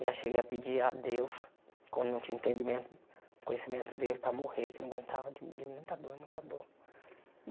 Eu já cheguei a pedir a Deus quando não tinha entendimen conhecimento dele para morrer, que eu não aguentava de de muita dor, muita dor.